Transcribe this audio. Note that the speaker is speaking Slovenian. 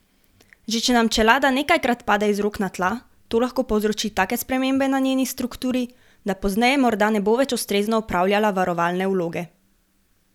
Že če nam čelada nekajkrat pade iz rok na tla, to lahko povzroči take spremembe na njeni strukturi, da pozneje morda ne bo več ustrezno opravljala varovalne vloge.